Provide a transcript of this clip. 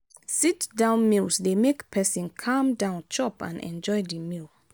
sit down meals dey make person calm down chop and enjoy the meal